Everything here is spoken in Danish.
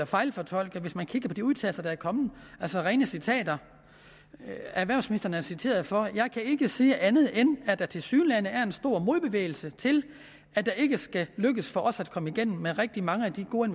fejlfortolke hvis man kigger på de udtalelser der er kommet altså rene citater erhvervsministeren er citeret for at sige jeg kan ikke sige andet end at der tilsyneladende er en stor modbevægelse til at det ikke skal lykkes for os at komme igennem med rigtig mange af de gode